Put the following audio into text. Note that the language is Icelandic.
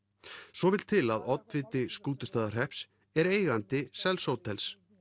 svo vill til að oddviti Skútustaðahrepps er eigandi sels hótels